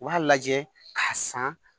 U b'a lajɛ k'a san